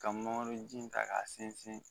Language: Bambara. Ka mangoro ji ta k'a sinsin